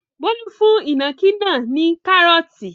Bólú fún ìnàkí náà ní kárọ́ọ́tì.